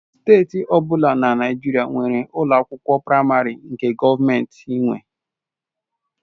Steeti ọ bụla na Naịjirịa nwere ụlọ akwụkwọ praịmarị nke gọọmentị nwe.